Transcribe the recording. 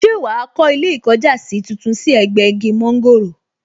Ṣé wàá kó ilé ìkọjásí tuntun sí ẹ̀gbẹ́ igi mọ́ńgòrò